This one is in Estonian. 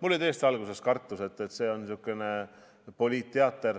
Mul oli tõesti alguses kartus, et tuleb niisugune poliitteater,